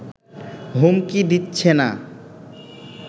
হুমকি দিচ্ছে না